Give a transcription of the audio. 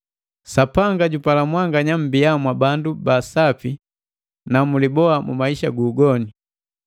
Sapanga jupala mwanganya mbia mwa bandu ba sapi na muliboa mu maisha gu ugoni.